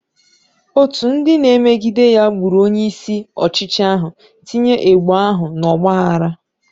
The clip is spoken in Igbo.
Otu ndị na-emegide ya gburu onye isi ọchịchị ahụ, tinye ebo ahụ n'ọgba aghara.